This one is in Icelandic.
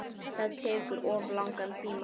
Það tekur of langan tíma.